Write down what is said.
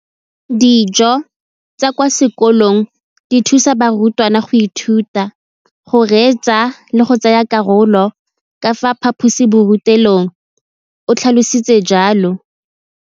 Dijo tsa kwa sekolong dithusa barutwana go ithuta, go reetsa le go tsaya karolo ka fa phaposiborutelong, o tlhalositse jalo.